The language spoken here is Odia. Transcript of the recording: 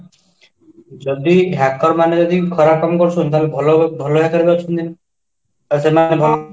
ଯଦି hacker ମାନେ ଯଦି ଖରାପ କାମ କରୁଛନ୍ତି ତାହାଲେ ଭଲ ଭଲ hacker ଅଛନ୍ତି ସେମାନେ